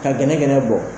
Ka gɛnɛgɛnɛ bɔ